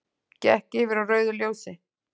Gekk yfir á rauðu ljósi